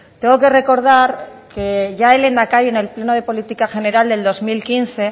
tengo que recordar que ya el lehendakari en el pleno de política general del dos mil quince